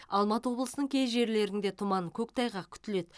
алматы облысының кей жерлерінде тұман көктайғақ күтіледі